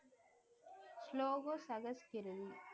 ஸ்லோகோ சகஸ்கிருதி